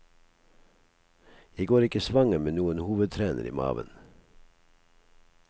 Jeg går ikke svanger med noen hovedtrener i maven.